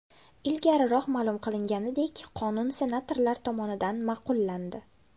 Ilgariroq ma’lum qilinganidek , qonun senatorlar tomonidan ma’qullandi.